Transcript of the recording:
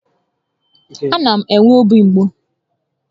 A na m enwe obi mgbu